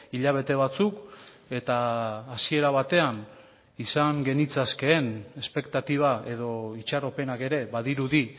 hilabete batzuk eta hasiera batean izan genitzakeen espektatiba edo itxaropenak ere badirudi